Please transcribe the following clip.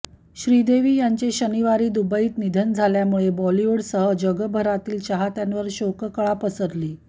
श्रीदेवी यांचे शनिवारी दुबईत निधन झाल्यामुळे बॉलिवूडसह जगभरातील चाहत्यांवर शोककळा पसरली